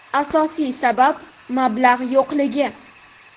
Asosiy sabab – mablag‘ yo‘qligi.